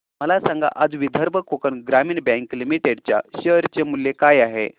मला सांगा आज विदर्भ कोकण ग्रामीण बँक लिमिटेड च्या शेअर चे मूल्य काय आहे